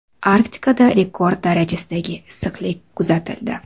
Arktikada rekord darajadagi issiqlik kuzatildi.